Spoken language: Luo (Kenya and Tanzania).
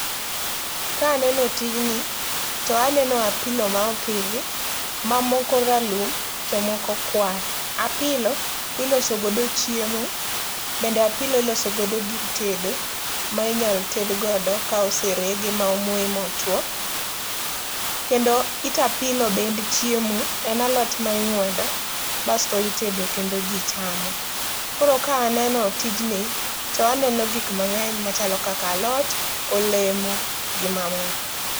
Ka aneno tijni to aneno apilo ma opodhi ma moko ralum to moko kwar. Apilo iloso godo chiemo bende apilo iloso godo gir tedo ma inyal ted godo ka oserege ma omoye ma otuo. Kendo it apilo bende en chiemo ,en alot ma ingwedo basto itedo kendo jii chamo. Koro ka aneno tijni to aneno gik mangeny machalo kaka alot, olemo gi mamoko.